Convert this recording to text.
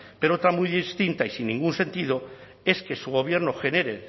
pero otra muy distinta y sin ningún sentido es que su gobierno genere